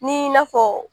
Ni n'a fɔ